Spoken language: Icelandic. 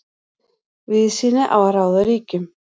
Víðsýni á að ráða ríkjum.